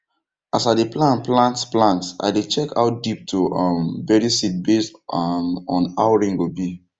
as i dey plan plant plant i dey check how deep to um bury seed based um on how rain go be